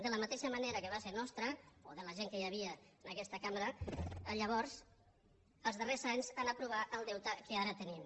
de la mateixa manera que va ser nostra o de la gent que hi havia en aquesta cambra llavors els darrers anys aprovar el deute que ara tenim